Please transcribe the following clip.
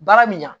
Baara min na